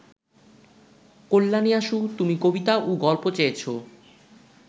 কল্যাণীয়াসু, তুমি কবিতা ও গল্প চেয়েছ